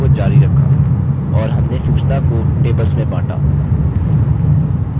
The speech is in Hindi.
और हमने सूचना को tables में बाँटा